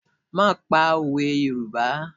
Máà pa òwe Yorùbá!